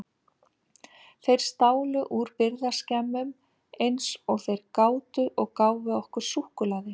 Þeir stálu úr birgðaskemmum eins og þeir gátu og gáfu okkur súkkulaði.